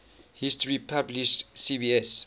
history publisher cbs